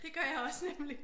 Det gør jeg også nemlig